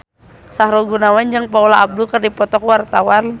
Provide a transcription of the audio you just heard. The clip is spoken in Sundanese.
Sahrul Gunawan jeung Paula Abdul keur dipoto ku wartawan